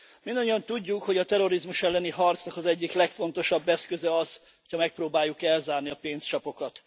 Mindannyian tudjuk, hogy a terrorizmus elleni harcnak az egyik legfontosabb eszköze az, ha megpróbáljuk elzárni a pénzcsapokat.